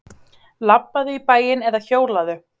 Labbaðu í bæinn eða hjólaðu.